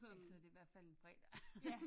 Ellers så er det i hvert fald en fredag